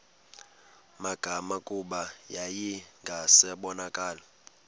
magama kuba yayingasabonakali